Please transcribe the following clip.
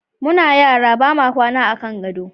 Muna yara ba ma kwana a kan gado.